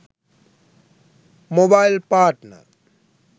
mobile partner